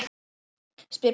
spyr Palli.